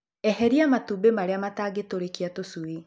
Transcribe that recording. Eheria matumbĩ marĩa matangitũrĩkia tũcui.